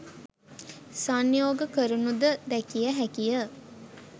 සංයෝග කරනුද දැකිය හැකිය